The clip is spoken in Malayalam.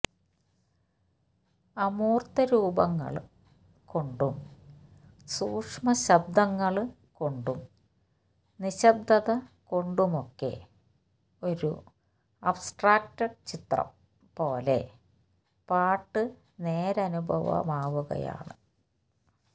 അമൂര്ത്തരൂപങ്ങള് കൊണ്ടും സൂക്ഷ്മശബ്ദങ്ങള് കൊണ്ടും നിശ്ശബ്ദത കൊണ്ടുമൊക്കെ ഒരു അബസ്ട്രാക്ട് ചിത്രം പോലെ പാട്ട് നേരനുഭവമാവുകയാണ്